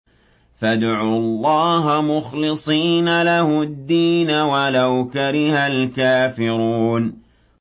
فَادْعُوا اللَّهَ مُخْلِصِينَ لَهُ الدِّينَ وَلَوْ كَرِهَ الْكَافِرُونَ